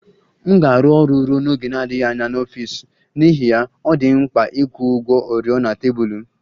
M ga-arụ ọrụ ruo n'oge na-adịghị anya n'ọfịs n'ihi ya, ọ dị m mkpa ịkwụ ụgwọ oriọna tebụl m